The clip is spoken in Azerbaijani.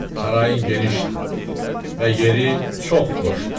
Sarayın genişdir və yeri çox xoşdur.